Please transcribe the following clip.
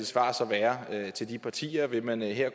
svar så være til de partier vil man her